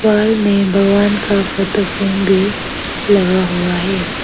Wall में भगवान का फोटो फ्रेम भी लगा हुआ है।